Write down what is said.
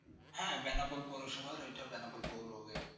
হ্যাঁ বেনাপোল পৌরসভার ওটা বেনাপোল পৌর Gate